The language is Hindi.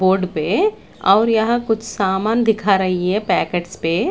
बोर्ड पे और यहां कुछ सामान दिखा रही है पैकेट्स पे।